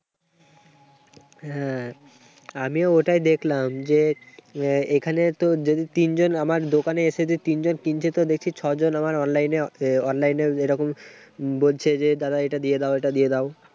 হ্যাঁ, আমিও ওটাই দেখলাম যে, এখানে তো যদি তিনজন আমার দোকানে যে এসে যে তিনজন তিনজনকে দেখে ছয়জন আমার online এ আছে। online এও যে এরকম বলছে যে, দাদা এটা দিয়ে দাও এটা দিয়ে দাও।